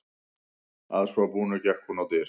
Að svo búnu gekk hún á dyr.